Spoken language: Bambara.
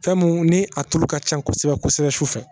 Fɛnmu ni a tulu ka ca kosɛbɛ kosɛbɛ su fɛ.